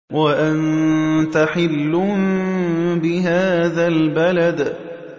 وَأَنتَ حِلٌّ بِهَٰذَا الْبَلَدِ